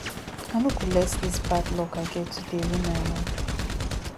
i no go let dis bad luck i get today ruin my mood